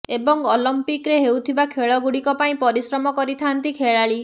ଏବଂ ଅଲିମ୍ପିକରେ ହେଉଥିବା ଖେଳଗୁଡିକ ପାଇଁ ପରିଶ୍ରମ କରିଥାନ୍ତି ଖେଳାଳି